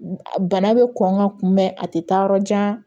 Bana bɛ kɔn ka kunbɛn a tɛ taa yɔrɔ jan